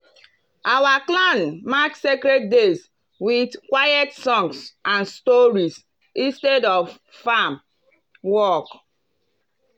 our clan mark sacred days with quiet songs and stories instead of farm work.